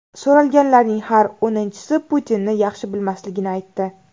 So‘ralganlarning har o‘ninchisi Putinni yaxshi bilmasligini aytdi.